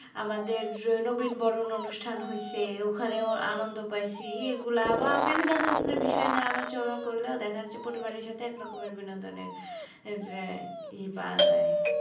আমাদের নবীনবরণ অনুষ্ঠান হয়েসে ওখানেও আনন্দ পাইসি, এগুলা বা বিভিন্ন ধরনের বিষয় নিয়ে আলোচনা করলেও দেখা যাচ্ছে পরিবাবের সাথে একরকমের বিনোদনের ই পাওয়া যায়।